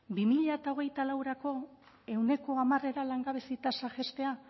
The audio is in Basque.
bi mila hogeita laurako ehuneko hamarera langabezia tasa jaistea